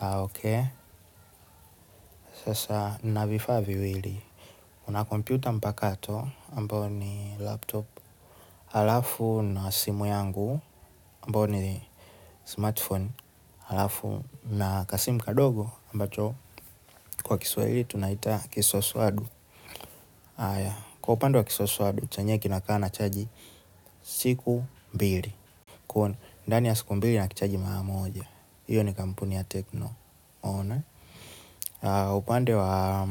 Ok, sasa nina vifaa viwili, nina kompyuta mpakato ambayo ni laptop, halafu na simu yangu, ambayo ni smartphone, halafu na kasimu kadogo, ambacho kwa Kiswahili tunaita kisoswadu kwa upande wa kisoswadu, chenyewe kinakaa na chaji siku mbili. Ndani ya siku mbili na kichaji mara moja hiyo ni kampuni ya tecno, upande wa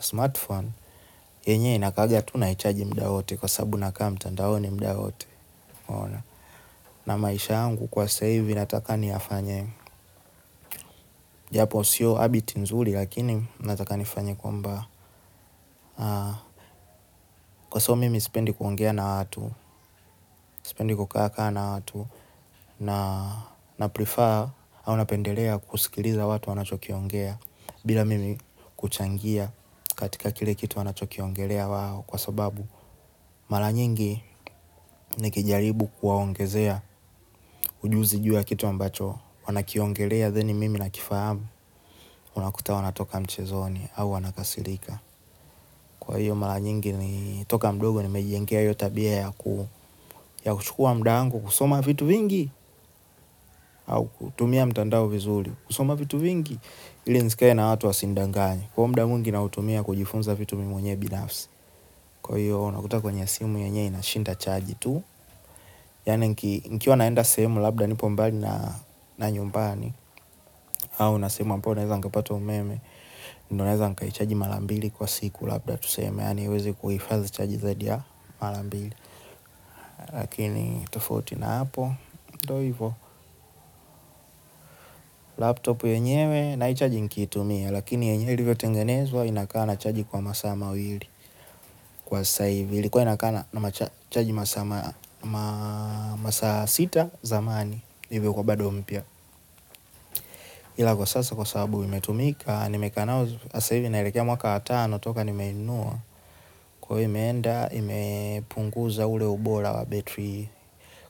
smartphone, yenyewe inakaanga tu naichaji muda wote kwa sababu nakaa mtandaoni muda wote, na maisha yangu kwa sasa hivi nataka niyafanye japo siyo habit nzuri lakini nataka nifanye kwamba kwa soo mimi sipendi kuongea na watu, sipendi kukaa na watu, na prefer au napendelea kusikiliza watu wanachokiongea bila mimi kuchangia katika kile kitu wanachokiongelea wao kwa sababu mara nyingi nikijaribu kuwaongezea ujuzi juu ya kitu ambacho wanakiongelea, then mimi nakifahamu unakuta wanatoka mchezoni au wanakasirika. Kwa hiyo mara nyingi toka mdogo nimejijengea hiyo tabia ya kuchukua muda wangu kusoma vitu vingi au kutumia mtandao vizuri, kusoma vitu vingi ili nisikae na watu wasinidanganye kwa hivyo muda mwingi natumia kujifunza vitu mwenyewe binafsi kwa hiyo unakuta kwenye simu yenyewe inashinda charge tu. Yani nkiwa naenda sehemu labda nipo mbali na nyumbani au nina sehemu ambayo naweza nikapata umeme ndiyo naweza nikaichaji mara mbili kwa siku labda tuseme. Yaani haiwezi kuhifadhi chaji zadia ya mara mbili. Lakini tofauti na hapo. Ndiyo hivyo laptop yenyewe naichaji nikiitumia, lakini yenyewe ilivyo tengenezwa inakaa na chaji kwa masaa mawili, kwa sasa hivi ilikuwa inakaa na chaji masaa sita zamani hivyo ilikuwa bado mpya ila kwa sasa, kwa sababu imetumika nimekaa nayo sasa hivi inaelekea mwaka wa tano toka nimeinunua kwa hiyo imeenda imepunguza ule ubora wa betri.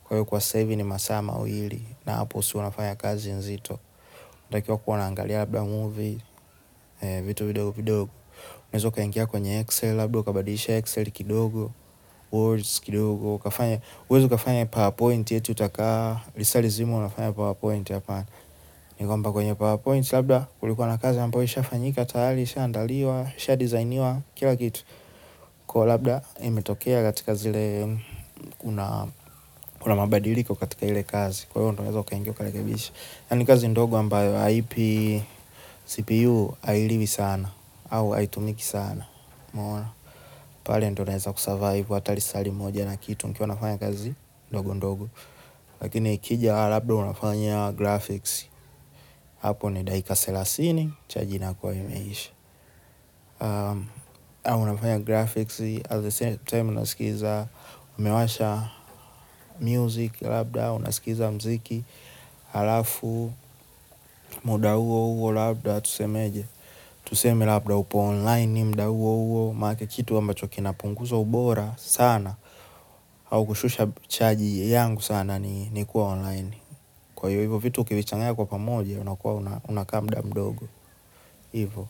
Kwa hiyo kwa sasa hivi ni masaa mawili. Na hapo si huwa nafanya kazi nzito, natakiwa kuwa naangalia labda movie vitu vidogovidogo, unaweza ukaingia kwenye Excel labda ukabadisha excel kidogo, word kidogo huwezi ukafanya PowerPoint eti utakaa lisaa lizima unafanya powerpoint hapana ni kwamba kwenye powerpoint labda kulikuwa na kazi ambayo ishafanyika tayari ishaandaliwa, ishadesigniwa kila kitu, kwa labda imetokea katika zile unamabadiliko katika ile kazi kwa hivyo unaweza ukaingia ukarekebisha, yani kazi ndogo ambayo haipi, cpu hailiwi sana au haitumiki sana mwana, pale ndio utaweza kusurvive hata lisaa limoja na kitu ikiwa unafanya kazi ndogondogo, lakini ikija labda unafanya graphics at the same time unasikiza, umewasha muziki labda unasikiza muziki halafu muda huo huo labda tusemeaje tuseme labda upo online muda huo huo maanake kitu ambacho kina punguza ubora sana, au kushusha chaji yangu sana ni kuwa online. Kwa hivyo, hivyo vitu ukivichangaya kwa pamoja unakuwa unaka muda mdogo. Hivyo.